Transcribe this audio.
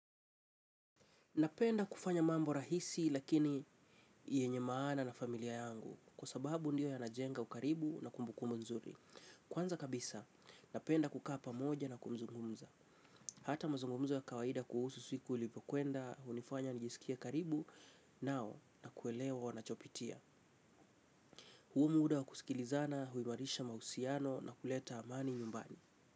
Napenda kufanya mambo rahisi lakini yenye maana na familia yangu kwa sababu ndio ya najenga ukaribu na kumbukumbu nzuri. Kwanza kabisa, napenda kuka pamoja na kumzungumza. Hata mazungumzo ya kawaida kuhusu siku ilipo kuenda, unifanya nijisikie karibu nao na kuelewa wanachopitia. Huu muda wa kusikilizana, huimarisha mausiano na kuleta amani nyumbani.